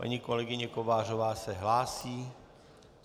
Paní kolegyně Kovářová se hlásí?